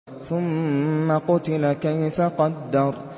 ثُمَّ قُتِلَ كَيْفَ قَدَّرَ